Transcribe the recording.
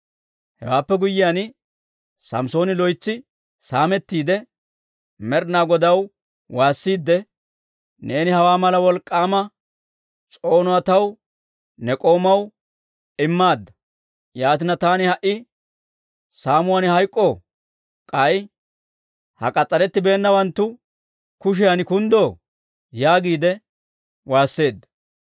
Hewaappe guyyiyaan, Samssooni loytsi saamettiide, Med'inaa Godaw waassiidde, «Neeni hawaa mala wolk'k'aama s'oonuwaa taw ne k'oomaw immaadda. Yaatina, taani ha"i saamuwaan hayk'k'oo? K'ay ha k'as's'arettibeennawanttu kushiyan kunddoo?» yaagiide waasseedda.